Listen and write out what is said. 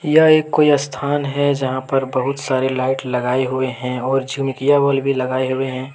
यह एक कोई स्थान है जहां पर बहुत सारे लाइट लगाए हुए हैंऔर झुमकिया बल भी लगाए हुए हैं।